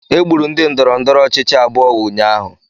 Egburu ndị ndọrọndọrọ ọchịchị abụọ ụnyaahụ